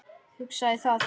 Hugsaði það.